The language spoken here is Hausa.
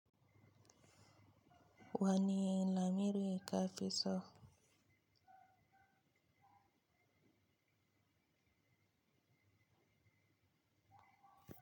Wani lamiri ka fi so?